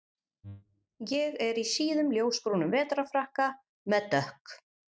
Ég er í síðum ljósbrúnum vetrarfrakka með dökk